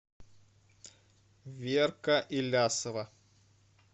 верка илясова